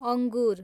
अङ्गुर